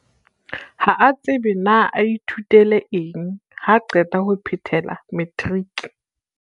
Ha a tsebe na a ithutele eng haa qeta ho phethela matriki.